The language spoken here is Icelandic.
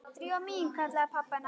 Drífa mín- kallaði pabbi hennar.